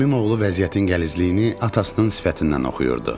Əmimoğlu vəziyyətin gəlizliyini atasının sifətindən oxuyurdu.